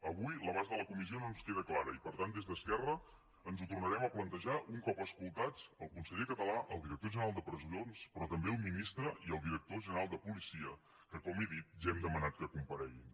avui l’abast de la comissió no ens queda clar i per tant des d’esquerra ens ho tornarem a plantejar un cop escoltats el conseller català el director general de presons però també el ministre i el director general de policia que com he dit ja hem demanat que compareguin